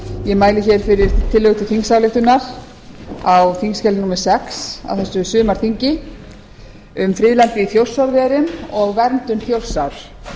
ég mæli hér fyrir tillögu til þingsályktunar á þingskjali númer sex á þessu sumarþingi um friðlandið í þjórsárverum og verndun þjórsár það